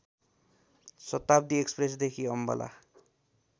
शताब्‍दी एक्‍सप्रेसदेखि अम्बाला